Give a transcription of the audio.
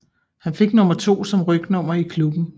Han fik nummer 2 som rygnummer i klubben